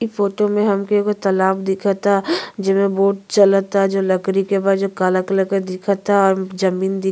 ई फोटो मे हमके एगो तालाब दिखता। जेमे बोट चलता जो लकड़ी के बा जो कला कलर के दिखता। जमीन दि --